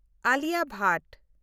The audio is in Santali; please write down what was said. ᱟᱞᱤᱭᱟ ᱵᱷᱟᱴ